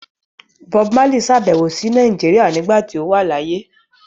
Bob Marley sàbẹ̀wò sí Nàìjíríà nígbà tí ó wà láyé.